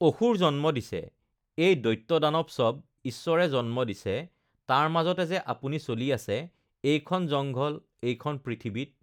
অসুৰ জন্ম দিছে, এই দৈত্য দানৱ চব ঈশ্বৰে জন্ম দিছে তাৰ মাজতে যে আপুনি চলি আছে এইখন জংঘল, এইখন পৃথিৱীত